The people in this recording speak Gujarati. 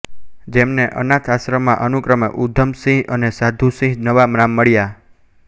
જેમને અનાથાશ્રમમાં અનુક્રમે ઉધમસિંહ અને સાધુસિંહ નવા નામ મળ્યા